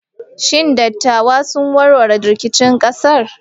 Shin dattawa sun warware rikicin ƙasar?